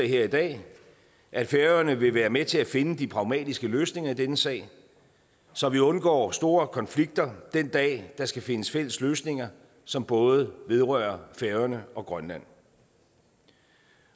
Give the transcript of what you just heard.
her i dag at færøerne vil være med til at finde de pragmatiske løsninger i denne sag så vi undgår store konflikter den dag der skal findes fælles løsninger som både vedrører færøerne og grønland